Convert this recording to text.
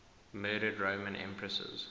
murdered roman empresses